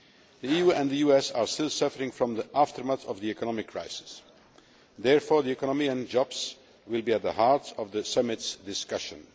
The EU and the US are still suffering from the aftermath of the economic crisis. Therefore, the economy and jobs will be at the heart of the summit's discussions.